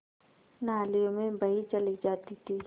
नालियों में बही चली जाती थी